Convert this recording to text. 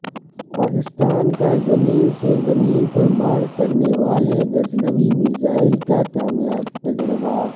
پاکستان کا زمین سے زمین پر مارکرنے والے غزنوی میزائل کا کامیاب تجربہ